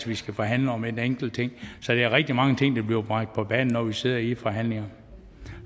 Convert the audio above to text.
vi skal forhandle om en enkelt ting så der er rigtig mange ting der bliver bragt på banen når vi sidder i forhandlingerne